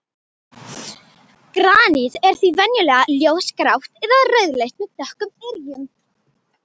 Granít er því venjulega ljósgrátt eða rauðleitt með dökkum yrjum.